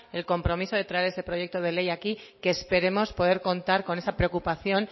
el compromiso de traer ese proyecto de ley aquí que esperemos poder contar con esa preocupación